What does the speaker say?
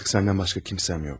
Artık səndən başqa kimsəm yox.